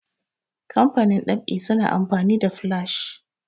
kamfanin ɗab'i suna amfani da flash